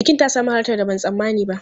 Bukin ta sami halartar da ban tsammani ba.